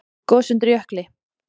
Gos undir jökli